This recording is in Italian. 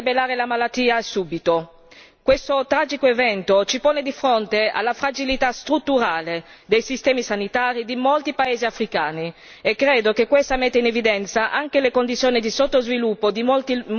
Questo tragico evento ci pone di fronte alla fragilità strutturale dei sistemi sanitari di molti paesi africani e credo che questo metta in evidenza anche le condizioni di sottosviluppo di molte zone dell'Africa.